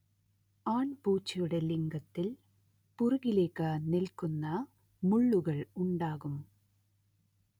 ആൺപൂച്ചയുടെ ലിംഗത്തിൽ പിറകിലേയ്ക്ക് നിൽക്കുന്ന മുളളുകൾ ഉണ്ടാകും